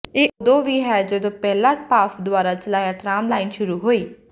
ਇਹ ਉਦੋਂ ਵੀ ਹੈ ਜਦੋਂ ਪਹਿਲਾ ਭਾਫ ਦੁਆਰਾ ਚਲਾਇਆ ਟਰਾਮ ਲਾਈਨ ਸ਼ੁਰੂ ਹੋਈ